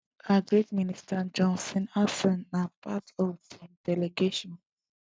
agric minister john steenhuisen na part of di delegation